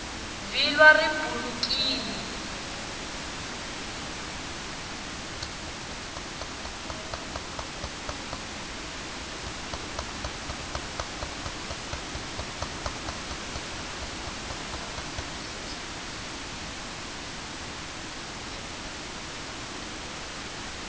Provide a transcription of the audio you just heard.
vhilwa ri bulekini